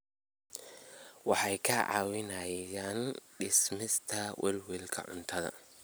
Waxay kaa caawinayaan dhimista welwelka cuntada.